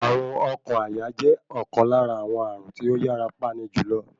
Ààrùn oókan àyà jẹ́ ọ̀kan lára àwọn ààrùn tí ó yàra pani jùlọ.